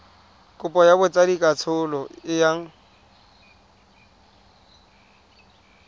kopo ya botsadikatsholo e yang